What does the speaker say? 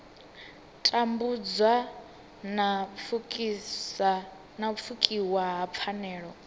tambudzwa na pfukiwa ha pfanelo